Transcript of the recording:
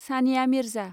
Sania Mirza